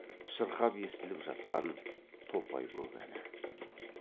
шырқап естіліп жатқан топайкөк әні